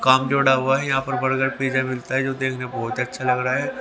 काम जोड़ा हुआ है यहां पर बर्गर पिज्जा मिलता है जो देखने में बहुत अच्छा लग रहा है।